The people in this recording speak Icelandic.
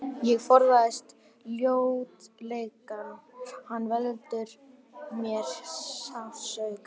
Ég forðast ljótleikann, hann veldur mér sársauka.